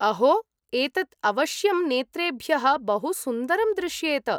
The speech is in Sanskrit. अहो! एतत् अवश्यं नेत्रेभ्यः बहुसुन्दरं दृश्येत।